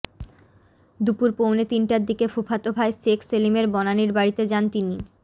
দুপুর পৌনে তিনটার দিকে ফুফাতো ভাই শেখ সেলিমের বনানীর বাড়িতে যান তিনি